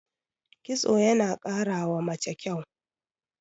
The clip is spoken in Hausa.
kitso yana karawa mace kyau